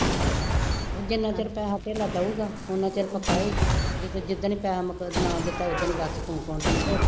ਉਹ ਜਿੰਨਾ ਚਿਰ ਪੈਸਾ ਧੇਲਾ ਦੇਊਗਾ, ਉੱਨਾ ਚਿਰ ਪਕਾਏਗੀ, ਜਿ-ਦਿਨ ਨਾ ਦਿੱਤਾ ਉਦਣ ਹੀ ਬਸ ਤੂੰ ਕੌਣ ਅਤੇ ਮੈਂ ਕੌਣ